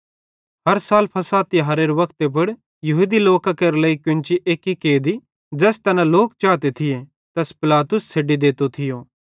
हर साल फ़सह तिहारेरे वक्ते पुड़ यहूदी लोकां केरे लेइ केन्ची एक्की कैदी ज़ैस तैना लोक चाते थिये तैस पिलातुस छ़ेड्डी देतो थियो